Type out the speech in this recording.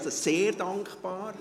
dafür bin ich dankbar.